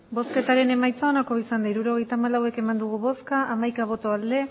hirurogeita hamalau eman dugu bozka hamaika bai